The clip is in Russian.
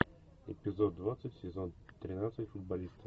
эпизод двадцать сезон тринадцать футболисты